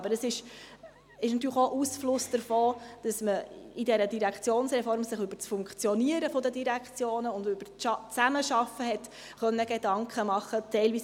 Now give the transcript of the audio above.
Aber es ist natürlich auch Ausfluss davon, dass man sich in dieser Direktionsreform über das Funktionieren der Direktionen und über die Zusammenarbeit Gedanken machen konnte.